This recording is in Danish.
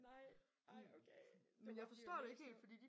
Nej ej okay. Det var alligevel lidt sjovt